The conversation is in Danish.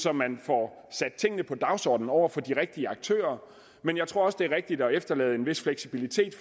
at man får sat tingene på dagsordenen over for de rigtige aktører men jeg tror også det er rigtigt at efterlade en vis fleksibilitet